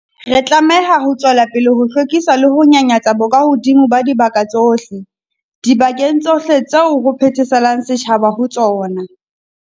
Re tlameha ho tswela pele ho hlwekisa le ho nyanyatsa bokahodimo ba dibaka tsohle, dibakeng tsohle tseo ho phetheselang setjhaba ho tsona.